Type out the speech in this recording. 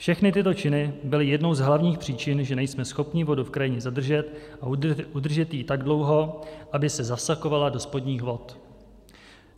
Všechny tyto činy byly jednou z hlavních příčin, že nejsme schopni vodu v krajině zadržet a udržet ji tak dlouho, aby se zavsakovala do spodních vod.